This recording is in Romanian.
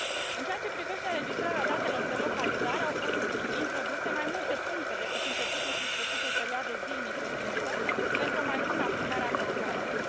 În ceea ce privește înregistrarea datelor de localizare, au fost introduse mai multe puncte decât începutul și sfârșitul perioadei zilnice de muncă, pentru o mai bună aplicare a controalelor.